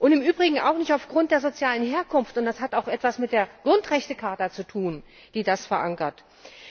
Im Übrigen auch nicht aufgrund der sozialen Herkunft. Das hat auch etwas mit der Grundrechtecharta zu tun, in der das verankert ist.